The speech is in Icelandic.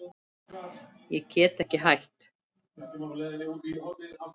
Ég get ekki hætt.